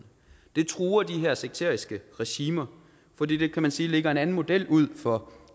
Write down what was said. det truer de her sekteriske regimer fordi det kan man sige lægger en anden model ud for